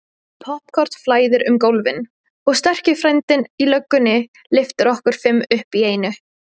Poppkorn flæðir um gólfin og sterki frændinn í löggunni lyftir okkur fimm upp í einu.